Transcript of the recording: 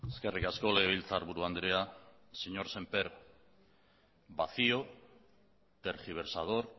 eskerrik asko legebiltzarburu andrea señor sémper vacío tergiversador